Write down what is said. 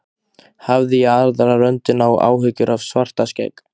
Hafði í aðra röndina áhyggjur af Svartskegg.